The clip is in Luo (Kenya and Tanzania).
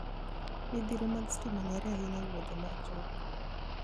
Midhiro mag stima ong'ere ahinya e wuodhe machuok.